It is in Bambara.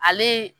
Ale